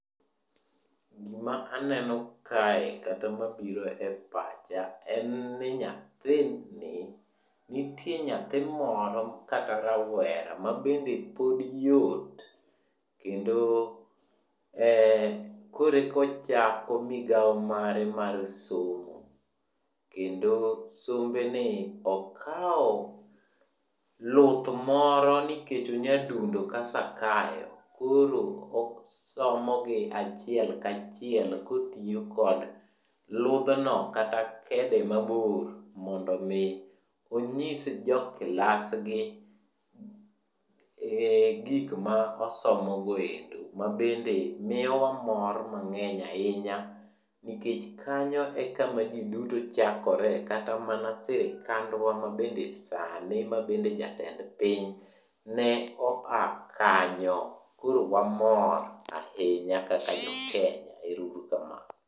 Gima aneno kae kata mabiro e pacha en ni nyathini. Nitie nyathi moro kata rawera mabende pod yot, kendo koreka ochako migawo mare mar somo. Kendo sombe ni ,okwo luth moro nikech onyadundo ka Sakayo. Koro osomogi achiel kachiel kotiyo kod luthno kata kede mabor mondo omi onyis joklasgi gik ma osomogo endo mabende miyo wa mor mang'eny ahinya nikech kanyo ema ji duto chakore kata mana sirikandwa mabende sani mabende jatend piny ne oa kanyo. Koro wamor ahinya kaka Jokenya. Ero uru kamano.